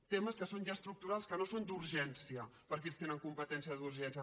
temes que són ja estructurals que no són d’urgència perquè ells tenen competència d’urgència